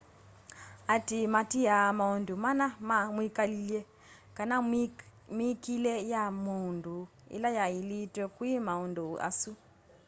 aatĩĩ maatĩaa maũndũ mana ma mwĩkalĩle kana mĩĩkile ya maũndũ ĩla yaĩlĩtwe kwĩ maũndũ asu